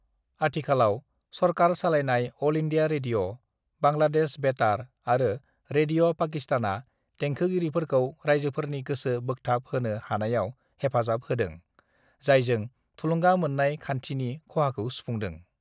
"आथिखालाव, सरखार सालायनाय अल इंडिया रेडिय', बांग्लादेश बेतार आरो रेडिय' पाकिस्तानआ देंखोगिरिफोरखौ रायजोफोरनि गोसो बोखथाब होनो हानायाव हेफाजाब होदों, जायजों थुलुंगा मोननाय खान्थिनि खहाखौ सुफुंदों।"